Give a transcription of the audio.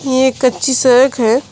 यह एक कच्ची सड़क है।